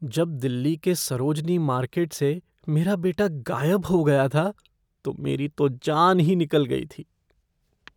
जब दिल्ली के सरोजनी मार्केट से मेरा बेटा गायब हो गया था, तो मेरी तो जान ही निकल गई थी।